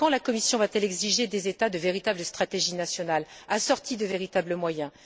Quand la Commission va t elle exiger des États de véritables stratégies nationales assorties de véritables moyens.